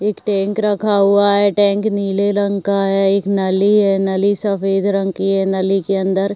एक टेंक रखा हुआ है। टेंक नीले रंग का है। एक नली है। नली सफ़ेद रंग की हैं। नली के अंदर --